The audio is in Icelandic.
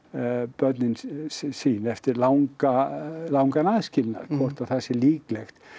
börnin sín eftir langan langan aðskilnað hvort að það sé líklegt